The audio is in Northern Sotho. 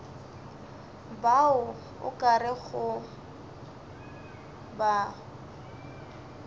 bao o ka rego ba